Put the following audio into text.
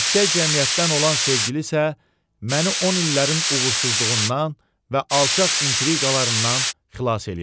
Yüksək cəmiyyətdən olan sevgili isə məni 10 illərin uğursuzluğundan və alçaq intriqalarından xilas eləyəcək.